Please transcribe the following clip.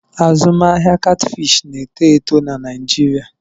Azụmahịa Catfish na-eto eto na Naịjirịa.